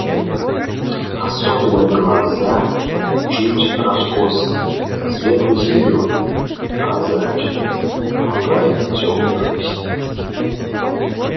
особенно глаза чуть раскосые светло-зелёные прозрачные в оправе тёмных ресниц